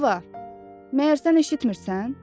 Yeva, məyər sən eşitmirənsən?